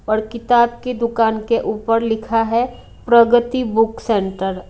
और किताब की दुकान के ऊपर लिखा है प्रगति बुक सेंटर--